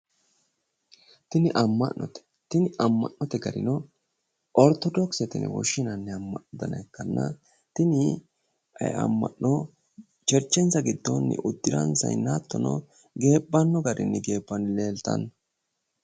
tini amma'note tini amma'note garino ortodokisete yine woshshinanni amma'no dana ikkanna tini amma'no cherchensa giddoonni uddiransayiinna hattono geebbanno garinni geebbanni leeltanno.